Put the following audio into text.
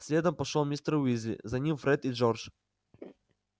следом пошёл мистер уизли за ним фред и джордж